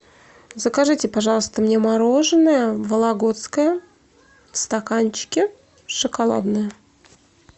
закажите пожалуйста мне мороженое вологодское в стаканчике шоколадное